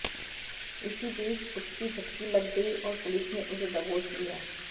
इसी बीच उसकी झपकी लग गई और पुलिस ने उसे दबोच लिया